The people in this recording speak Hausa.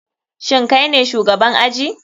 Shin kaine shugaban aji?